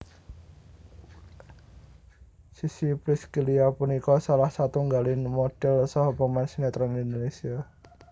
Sissy Priscillia punika salah setunggaling modhel saha pemain sinétron Indonésia